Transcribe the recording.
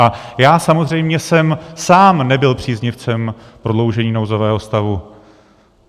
A já samozřejmě jsem sám nebyl příznivcem prodloužení nouzového stavu.